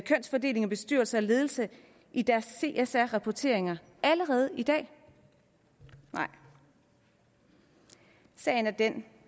kønsfordeling i bestyrelse og ledelse i deres csr rapporteringer allerede i dag nej sagen er den